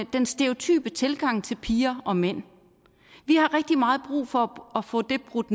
den stereotype tilgang til piger og mænd vi har rigtig meget brug for at få det brudt